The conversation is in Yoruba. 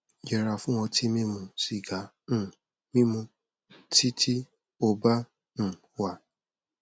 yẹra fún ọtí mímu sìgá um mímu tí tí ó bá um wà